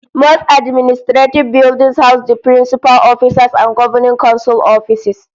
Most administrative buildings house the principal officers and governing council offices